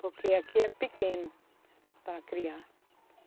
Porque aqui é pequeno para criar.